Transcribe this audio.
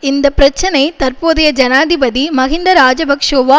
இந்த பிரச்சினை தற்போதைய ஜனாதிபதி மஹிந்த இராஜபக்ஷோவா